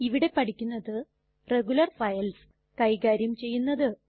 ഇവിടെ പഠിക്കുന്നത് regular files കൈകാര്യം ചെയ്യുന്നത്